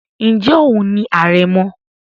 ǹjẹ́ òun ni àrẹ̀mọ?